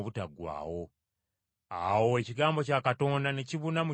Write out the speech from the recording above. Awo ekigambo kya Katonda ne kibuna mu kitundu ekyo kyonna.